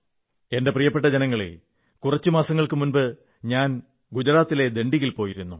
എന്റെ പ്രിയപ്പെട്ട ജനങ്ങളേ കുറച്ചു മാസങ്ങൾക്കു മുമ്പ് ഞാൻ ഗുജറാത്തിലെ ദണ്ഡിയിൽ പോയിരുന്നു